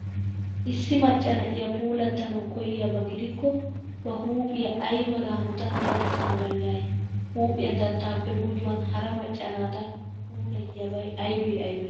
Issi macca na'iya puulaattanawu koyyiyaba gidikko ba huuphiya ay mala hanotan dadissana danddayay? Huuphiya dattaappe gujuwan hara macca naata puulayiyabay aybee aybee?